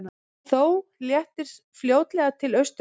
Þó léttir fljótlega til austanlands